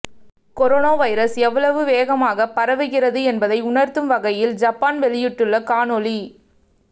corona virus எவ்வளவு வேகமாக பரவுகிறது என்பதை உணர்ந்து வகையில் ஐப்பான் வெளியிட்டுள்ள காணொளி